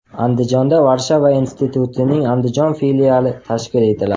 Andijonda Varshava institutining Andijon filiali tashkil etiladi.